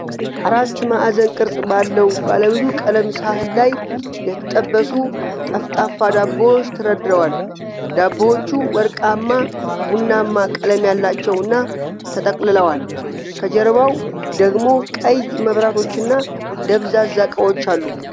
ራት ማዕዘን ቅርጽ ባለው ባለብዙ ቀለም ሳህን ላይ የተጠበሱ ጠፍጣፋ ዳቦዎች ተደርድረዋል። ዳቦዎቹ ወርቃማ ቡናማ ቀለም ያላቸውና ተጠቅልለዋል። ከጀርባው ደግሞ ቀይ መብራቶችና ደብዛዛ ዕቃዎች አሉ።